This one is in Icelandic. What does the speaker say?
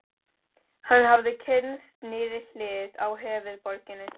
Hann hafði kynnst nýrri hlið á höfuðborginni.